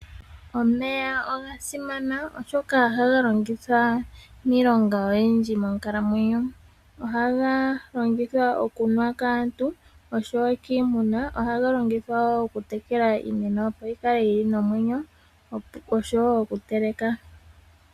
Omeya oga simana oshoka ohaga longithwa miilonga oyindji monkalamwenyo. Ohaga longithwa okunuwa kaantu noshowo kiimuna. Ohaga longithwa wo okutekela iimeno opo yikale nomwenyo, noshowo okuteleka.